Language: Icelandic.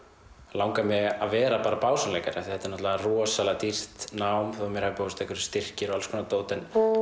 langar mig að vera bara básúnuleikari af því að er náttúrulega rosalega dýrt nám þó mér hafi boðist einhverjur styrkir og alls konar dót